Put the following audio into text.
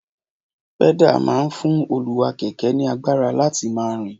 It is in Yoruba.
pẹ́dà máa ń fún olúwá-kẹ̀kẹ́ ní agbára láti máa rìn